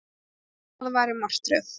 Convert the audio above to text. Það væri martröð.